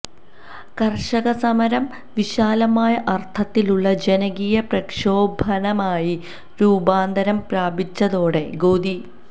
കര്ഷകസമരം വിശാലമായ അര്ത്ഥത്തിലുള്ള ജനകീയ പ്രക്ഷോഭണമായി രൂപാന്തരം പ്രാപിച്ചതോടെ ഗോദി